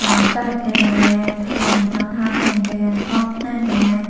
arow gash degey karentow tar degey tomdegey.